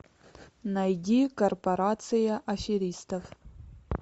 найди корпорация аферистов